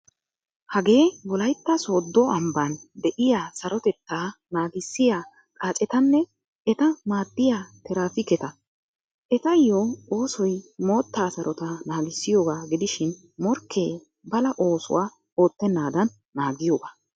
Hagee wolaytta sodo amban deiyaa sarotettaa naagissiya xaaccetanne etta maaddiya tirappiketa. Etayo oosoy mootta sarotta naagissiyooga gidishin morkke bala oosuwaa oottenadan naagiyoga.